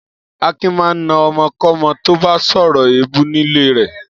Akin máa ń na ọmọkọ́mọ tó bá sọ̀rọ̀ èébú nílé rẹ̀.